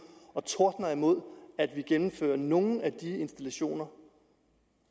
og tordner imod at vi gennemfører nogle af de installationer